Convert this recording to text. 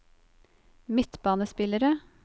midtbanespillere